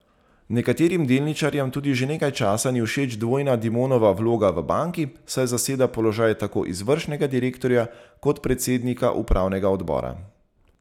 Nekaterim delničarjem tudi že nekaj časa ni všeč dvojna Dimonova vloga v banki, saj zaseda položaj tako izvršnega direktorja kot predsednika upravnega odbora.